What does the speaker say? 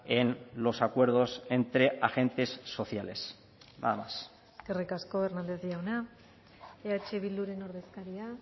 en los acuerdos entre agentes sociales nada más eskerrik asko hernández jauna eh bilduren ordezkaria